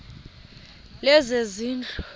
lezezindlu